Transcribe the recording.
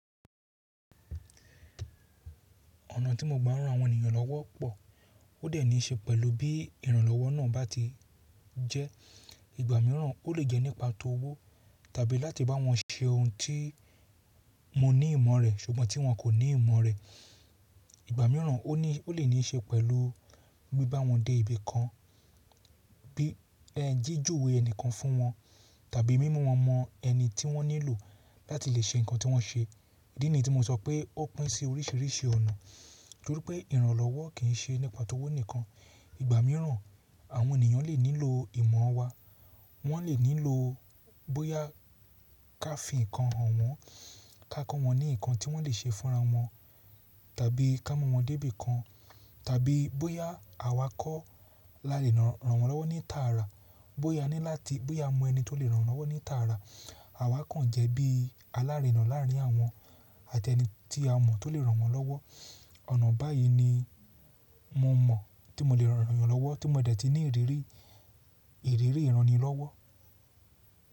Ọ̀nà tí mo gba ran àwọn ènìyàn lọ́wọ́ pọ̀, ó dẹ̀ ní í ṣe pẹ̀lú bí ìrànlọ́wọ́ náà bá ti jẹ́. Ìgbà mìíràn ó lè jẹ́ nípa tówó tàbí láti bá wọn ṣe ohun tí mo ní ìmọ̀ rẹ̀ ṣùgbọ́n tí wọ́n kò ní ìmọ̀ rẹ̀. Ìgbà mìíràn o ni ó lè ní í ṣe pẹ̀lú bí bá wọn dé ibi kan, bí jíjuwé ẹnìkan fún wọn tàbí mímú wọn mọ ẹni tí wọ́n nílò láti lè ṣe nǹkan tí wọ́n ṣe. Idí ní tí mo sọ pé ó pín sí oríṣíríṣì ọ̀nà torí pé ìrànlọ́wọ́ kì í ṣe nípa tówó nìkan. Ìgbà mìràn àwọn ènìyàn lè nílò ìmọ̀ wa, wọ́n lè nílò bóyá ká fi nkan hàn wọ́n, ká kọ́ wọ́n ní ǹkan tí wọ́n lè ṣe fúnra wọn tàbí kámú wọn dé bikan tàbí bóyá àwa kọ́ la lè rànwọ́n lọ́wọ́ ní tààrà, bóyá a ni láti, bóyá a mọ ẹni tó lè ràn wọ́n lọ́wọ́ ní tààrà, àwa kàn jẹ́ bí alárina láárín àwọn àtẹni tí a mọ̀ tó lè ràn wọ́n lọ́wọ́. Ọ̀nà báyìí ni mo mọ̀ tí mo lè ràn ènìyàn lọ́wọ́ tí mo dẹ̀ ti ní ìrírí, ìrírí ìránni lọ́wọ́.